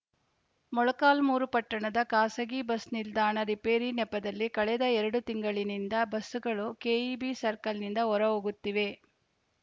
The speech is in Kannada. ಮೊಳಕಾಲ್ಮರು ಪಟ್ಟಣದ ಖಾಸಗಿ ಬಸ್‌ ನಿಲ್ದಾಣ ರಿಪೇರಿ ನೆಪದಲ್ಲಿ ಕಳೆದ ಎರಡು ತಿಂಗಳಿನಿಂದ ಬಸ್‌ಗಳು ಕೆಇಬಿ ಸರ್ಕಲ್‌ನಿಂದ ಹೊರಹೋಗುತ್ತಿವೆ